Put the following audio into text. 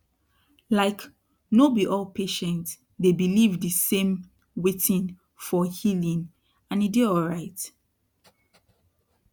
like no be all patient dey believe de same wtin for healing and e dey alrit